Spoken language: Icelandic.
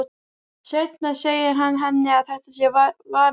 Seinna segir hann henni að þetta sé vani.